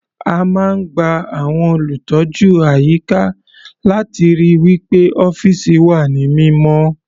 A máa ń gba àwọn olùtọ́jú àyíká láti ríi wí pé ọ́fìsì wà ní mímọ́.